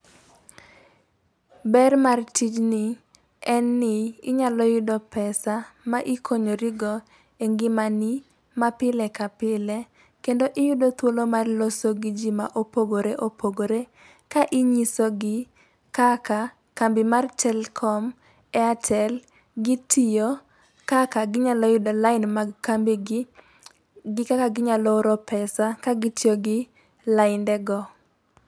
Ber mar tijni en ni inyalo yudo pesa ma ikonyori go e ngima ni ma pile ka pile. Kendo iyudo thuolo mar loso gi jiii ma opogore ka inyiso gi kaka kambi mar telkom, airtel gitiyo, kaka ginyalo yudo lain mag kambi gi kaka ginyalo oro pesa ka gitiyo gi lainde go.